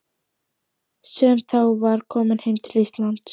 Fjölnismann, sem þá var kominn heim til Íslands.